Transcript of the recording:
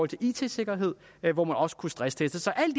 til it sikkerhed hvor man også kunne stressteste så alt i